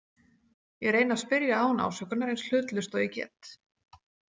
Ég reyni að spyrja án ásökunar, eins hlutlaust og ég get.